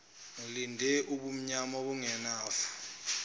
ngilinde umnyama ongenafu